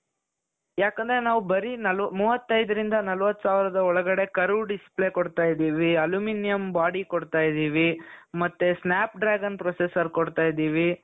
ಯಾಕೆಂದ್ರೆ ನಾವು ಬರೀ ಮೂವತ್ತೈದರಿಂದ ನಲವತ್ತು ಸಾವಿರದ ಒಳಗೆ curve display ಕೊಡ್ತಾ ಇದ್ದೀವಿ aluminium body ಕೊಡ್ತಾ ಇದ್ದೀವಿ ಮತ್ತೆ snap dragon processor ಕೊಡ್ತಾ ಇದ್ದೀವಿ .